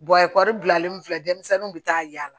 ekɔli bilalen filɛ denmisɛnninw bɛ taa yaala